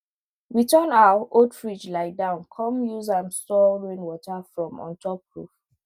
we turn our old fridge lie down come use am store rainwater from ontop roof